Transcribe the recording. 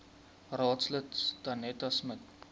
raadslid danetta smit